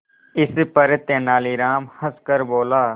इस पर तेनालीराम हंसकर बोला